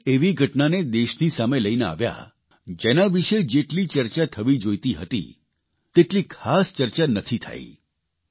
તેઓ એક એવી ઘટનાને દેશની સામે લઇને આવ્યા જેના વિષે જેટલી ચર્ચા થવી જોઇતી હતી તેટલી ખાસ ચર્ચા નથી થઇ